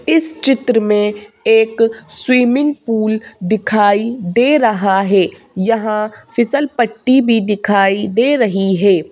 इस चित्र में एक स्विमिंग पूल दिखाई दे रहा है यहाँ फिसल पट्टी भी दिखाई दे रही है।